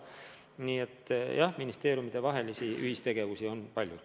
Nii et jah, ministeeriumidevahelist ühistegevust on palju.